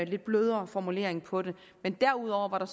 lidt blødere formulering for det derudover var der